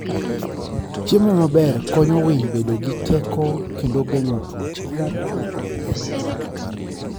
Chiemo maber konyo winy bedo gi teko kendo geng'o tuoche.